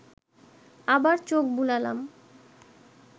আবার চোখ বুলালাম